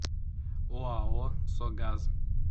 оао согаз